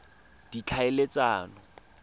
ditlhaeletsano